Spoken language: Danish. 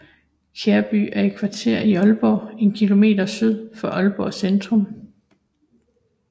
Kærby er et kvarter i Aalborg en kilometer syd for Aalborg Centrum